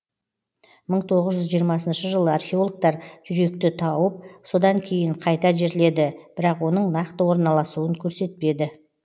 мың тоғыз жүз жиырмасыншы жылы археологтар жүректі тауып содан кейін қайта жерледі бірақ оның нақты орналасуын көрсетпеді